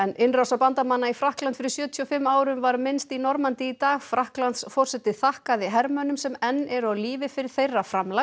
innrásar bandamanna í Frakkland fyrir sjötíu og fimm árum var minnst í Normandí í dag Frakklandsforseti þakkaði hermönnum sem enn eru á lífi fyrir þeirra framlag